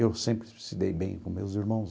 Eu sempre se dei bem com meus irmãos.